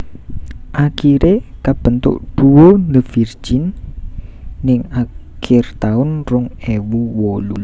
Akiré kabentuk duo The Virgin ning akir taun rong ewu wolu